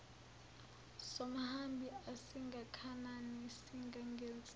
somhambi asingakanani singangenso